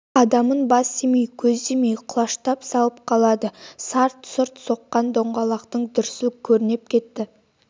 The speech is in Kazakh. адамын бас демей көз демей құлаштап салып қалады сарт-сұрт соққан доңғалақтың дүрсіл кернеп кетті